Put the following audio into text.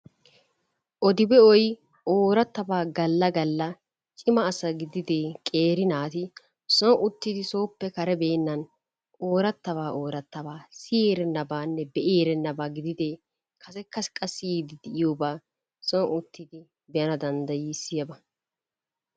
ode be'oy oorattabaa galla gakka cima asaa gidide qeeri naati soon uttigidi sooppe karebeenan ooratabaa ooratabaa siyyi erennabanne be'i erennabaa gidide kassekka qa siyyide diyooba soon uttidi be'ana danddayissiyaaba.